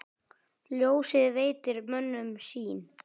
Ljósið veitir mönnum sýn.